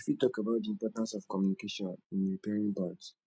you fit talk about di importance of communication in repairing bonds